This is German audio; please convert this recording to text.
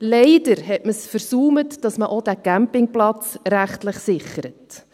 Leider versäumte man es, auch diesen Campingplatz rechtlich zu sichern.